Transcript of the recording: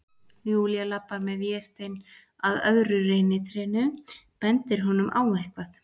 Júlía labbar með Véstein að öðru reynitrénu, bendir honum á eitthvað.